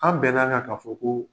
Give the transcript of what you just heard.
An bɛn'an kan k'a fɔ ko